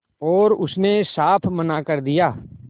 और उसने साफ मना कर दिया